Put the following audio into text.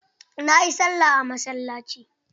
Na yi sallah a masallaci.